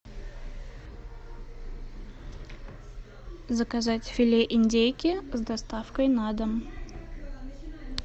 заказать филе индейки с доставкой на дом